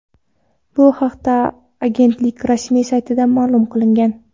Bu haqda agentlik rasmiy saytida ma’lum qilingan .